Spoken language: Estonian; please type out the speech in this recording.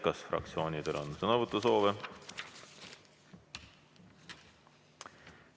Kas fraktsioonidel on sõnavõtusoovi?